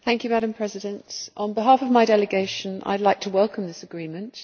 Madam President, on behalf of my delegation I would like to welcome this agreement.